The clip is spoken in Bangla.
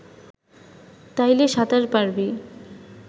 তাইলে সাঁতার পারবি